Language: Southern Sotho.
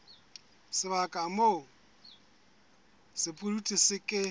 sebaka moo sepudutsi se ke